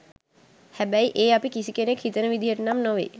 හැබැයි ඒ අපි කිසිකෙනෙක් හිතන විදිහටනම් නෙවෙයි.